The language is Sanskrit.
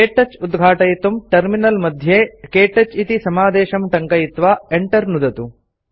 क्तौच उद्घाटयितुं टर्मिनल मध्ये क्तौच इति समादेशं टङ्कयित्वा Enter नुदन्तु